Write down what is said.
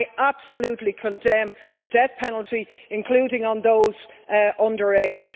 And I absolutely condemn the death penalty, including on those under age.